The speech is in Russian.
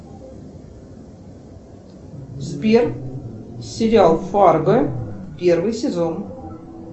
сбер сериал фарго первый сезон